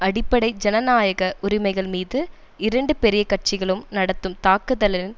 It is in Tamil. அடிப்படை ஜனநாயக உரிமைகள் மீது இரண்டு பெரிய கட்சிகளும் நடத்தும் தாக்குதலின்